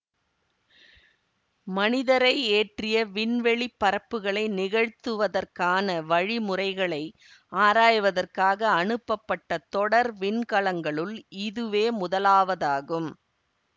மனிதரை ஏற்றிய விண்வெளி பறப்புக்களை நிகழ்த்துவதற்கான வழிமுறைகளை ஆராய்வதற்காக அனுப்பப்பட்ட தொடர் விண்கலங்களுள் இதுவே முதலாவதாகும்